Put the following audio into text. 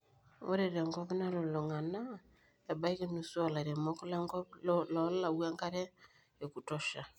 ore te nkop nalulung'a naa, ebaiki nusu oolairemok lenkop loolau enkare ekutosha